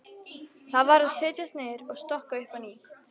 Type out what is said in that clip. Þá varð að setjast niður og stokka upp á nýtt.